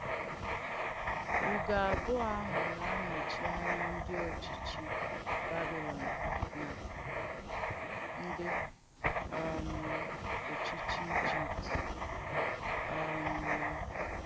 Ùgò àbùọ̀ àhụ̄ na-ànọ̀chì ànyà ndí òchìchì Bàbìlòn nà ndí um òchìchì Ìjìpt. um